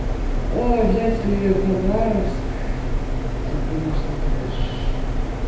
о взять ли хабаровск то конечно трэш